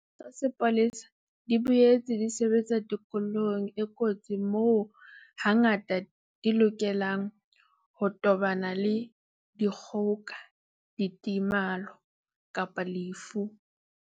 Ditho tsa sepolesa di boetse di sebetsa tikolohong e kotsi moo hangata di lokelang ho tobana le dikgoka, ditemalo kapa lefu.